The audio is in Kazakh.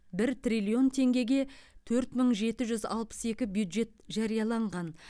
бір триллион теңгеге төрт мың жеті жүз алпыс екі бюджет жарияланған